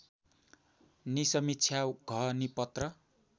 निसमीक्षा घ निपत्र